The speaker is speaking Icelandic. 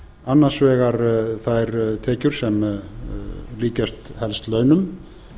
annars vegar þær tekjur sem líkjast helst launum